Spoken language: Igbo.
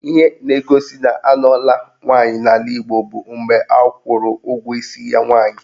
Ihe na-egosi na anụọla nwaanyị n'ala Igbo bụ mgbe akwụrụ ụgwọ isi nwaanyị